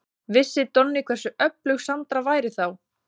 Vissi Donni hversu öflug Sandra væri þá?